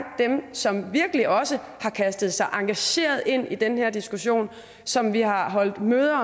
dem som virkelig også har kastet sig engageret ind i den her diskussion og som vi har holdt møder